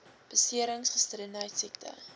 beserings gestremdheid siekte